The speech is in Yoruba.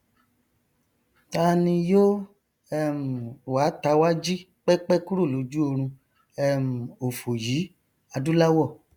ta ni yó um wa tawá jí pẹpẹ kúrò lójú orun um òfò yìí adúláwọ